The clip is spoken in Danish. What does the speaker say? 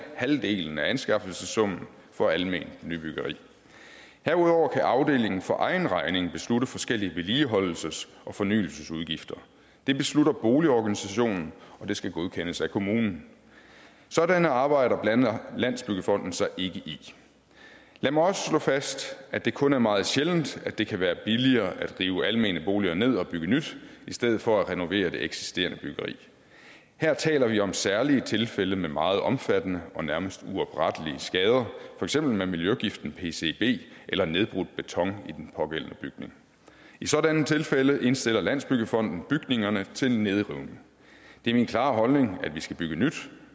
halvdelen af anskaffelsessummen for alment nybyggeri herudover kan afdelingen for egen regning beslutte forskellige vedligeholdelses og fornyelsesudgifter det beslutter boligorganisationen og det skal godkendes af kommunen sådanne arbejder blander landsbyggefonden sig ikke i lad mig også slå fast at det kun er meget sjældent at det kan være billigere at rive almene boliger ned og bygge nyt i stedet for at renovere det eksisterende byggeri her taler vi om særlige tilfælde med meget omfattende og nærmest uoprettelige skader for eksempel med miljøgiften pcb eller nedbrudt beton i den pågældende bygning i sådanne tilfælde indstiller landsbyggefonden bygningerne til nedrivning det er min klare holdning at vi skal bygge nyt